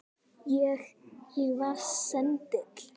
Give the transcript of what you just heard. Ég. ég var sendill